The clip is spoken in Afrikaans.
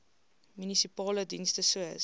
munisipale dienste soos